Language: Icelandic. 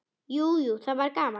Jú, jú, það var gaman.